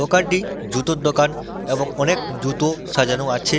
দোকানটি জুতোর দোকান এবং অনেক জুতো সাজানো আছে